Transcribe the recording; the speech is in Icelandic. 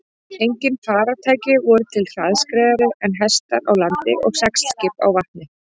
Engin farartæki voru til hraðskreiðari en hestar á landi og seglskip á vatni.